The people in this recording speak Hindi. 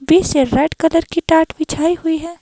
बीच से रेड कलर कि टाट बिछाई हुई है।